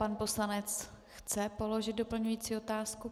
Pan poslanec chce položit doplňující otázku.